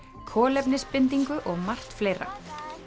kolefnisbindingu og margt fleira